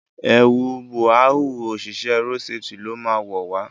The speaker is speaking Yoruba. ẹwù Búráhùn oṣiṣẹ road safety ló má wọ wá.